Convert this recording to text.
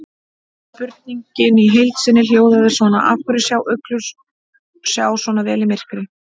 Spurningin í heild sinni hljóðaði svona: Af hverju sjá uglur sjá svona vel í myrkri?